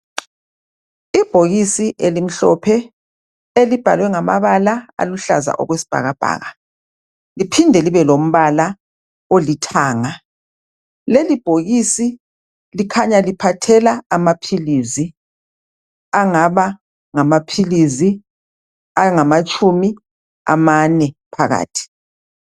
Ibhokisi elimhlophe. Elibhalwe ngamabala aluhlaza okwesibhakabhaka. Liphinde libelombala olithanga. Lelibhokisi likhanya liphathela amaphilisi, angaba ngamaphilisi angaba ngamatshumi amane phakathi.